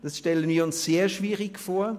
Das stellen wir uns sehr schwierig vor.